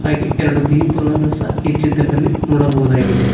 ಹಾಗೆ ಎರಡು ದೀಪಗಳನ್ನು ಸಹ ಈ ಚಿತ್ರದಲ್ಲಿ ನೋಡಬಹುದಾಗಿದೆ.